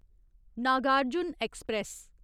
Nagarjuna express